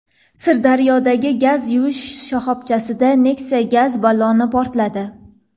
Sirdaryodagi gaz quyish shoxobchasida Nexia gaz balloni portladi.